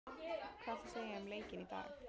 Hvað viltu segja um leikinn í dag?